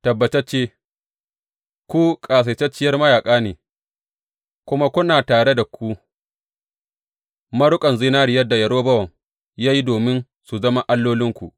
Tabbatacce ku ƙasaitacciyar mayaƙa ne kuma kuna tare da ku maruƙan zinariyar da Yerobowam ya yi domin su zama allolinku.